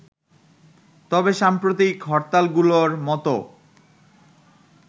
তবে সাম্প্রতিক হরতালগুলোর মতো